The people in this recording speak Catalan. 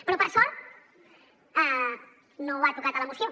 però per sort no ho ha tocat a la moció